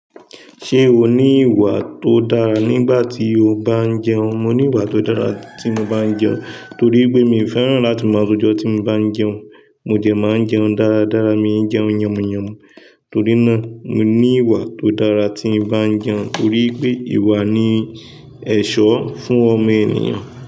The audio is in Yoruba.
Ṣé o ní ìwà tó dára nígbà tí o bá ń jẹun? Mo ní ìwà tó dára tí mo bá ń jẹun, torí pé mi ò fẹ́ràn láti máa rọjọ tí mo bá ń jẹun. Mo jẹ máa ń jẹun dáradára, mi ń jẹun yànmùyànmù. Torí náà, mo ní ìwà tó dára tí ń bá ń jẹun. Torí pé ìwà ni ẹ̀ṣọ́ fún ọmọ ènìyàn.